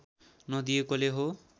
नदिएकोले हो